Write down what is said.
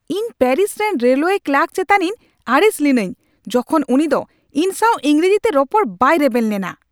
ᱤᱧ ᱯᱮᱹᱨᱤᱥ ᱨᱮᱱ railway clerk ᱪᱮᱛᱟᱱᱤᱧ ᱟᱹᱲᱤᱥ ᱞᱤᱱᱟᱹᱧ ᱡᱚᱠᱷᱚᱱ ᱩᱱᱤ ᱫᱚ ᱤᱧ ᱥᱟᱶ ᱤᱝᱨᱮᱡᱤᱛᱮ ᱨᱚᱯᱚᱲ ᱵᱟᱭ ᱨᱮᱵᱮᱱ ᱞᱮᱱᱟ᱾